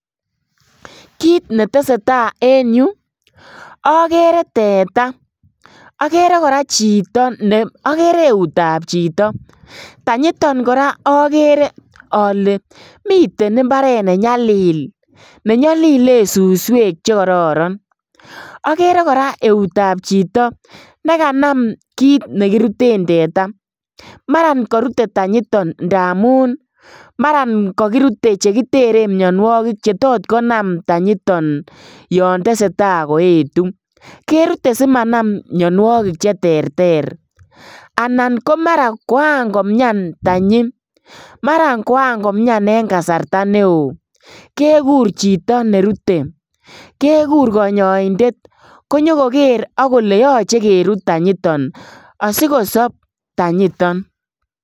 Kit netesee taa en yu okere teta, okere koraa chito ne okere eutab chito ,tanyiton koraa okere ole miten imbaret nenyalil nenyolilen suswek chekororon, okere koraa eutab chito nekanam kit nekiruten teta maran korute tanyiton ndamun maran kokirute chekitere mionuokik chetot konam tanyiton yon tesetaa koetu, kerite simanam mionuokik cheterter anan komara koankomian tanyi, maran koankomian en kasarta neo kekur chito nerute, kekur konyoindet konyokoker ak kole yoche kerut tanyiton asikosob tanyiton.